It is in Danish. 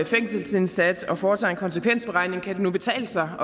fængselsindsat og foretager en konsekvensberegning kan det nu betale sig